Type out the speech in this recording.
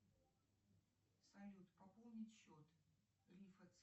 салют пополнить счет